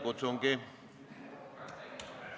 Kas on protseduuriline küsimus?